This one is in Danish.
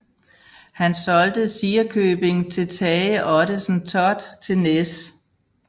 Han solgte Sirekøbing til Tage Ottesen Thott til Næs